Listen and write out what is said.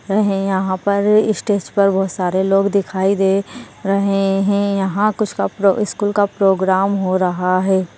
रहे यहा पर इस्टेज पर बहुत सारे लोग दिखाई दे रहे हैं यहा कुछ का-प्रो स्कूल का प्रोग्राम हो रहा हैं।